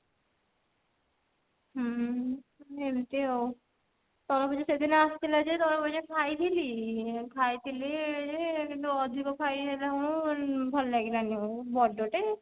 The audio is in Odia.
ହୁଁ ଏମତି ଆଉ ତରଭୁଜ ସେଦିନ ଆସିଥିଲା ଯେ ତରଭୁଜ ଖାଇଥିଲି ଖାଇଥିଲି ଯେ କିନ୍ତୁ ଅଧିକା ଖାଇ ହେଲାନି କଣ ଭଲ ଲାଗିଲାନି ବଡ ଟେ